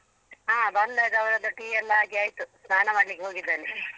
ಹಾ ಬಂದಾಗ ಅವ್ರದ್ದು ಟೀ ಎಲ್ಲ ಆಗಿ ಆಯ್ತು ಸ್ನಾನ ಮಾಡ್ಲಿಕ್ಕೆ ಹೋಗಿದ್ದಾನೆ ಚಿಕ್ಕವನು